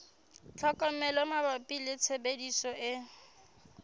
tlhokomelo mabapi le tshebediso e